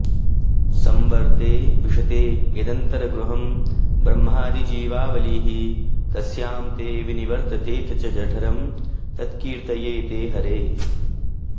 संवर्ते विशते यदन्तरगृहं ब्रह्मादिजीवावलिः तस्यां ते विनिवर्तते च जठरं तत्कीर्तये ते हरे